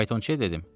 Faytonçuya dedim: